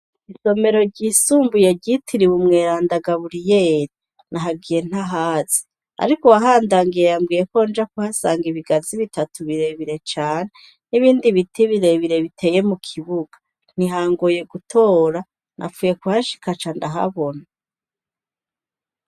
isomero ry'isumbuye ryitiriwe umweranda Gaburiyeri nahagiye ntahazi, ariko uwahandangiye yambwiyeko nja kuhasanga ibigazi bitatu birebire cane nibindi biti birebire biteye mukibuga, ntihangoye gutora napfuye kuhashika nca ndahabona .